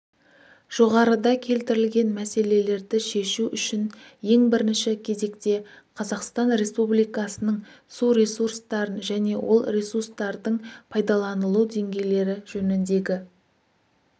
жоғарыда келтірілген мәселелерді шешу үшін ең бірінші кезекте қазақстан республикасының су ресурстарын және ол ресустардың пайдаланылу деңгейлері жөніндегі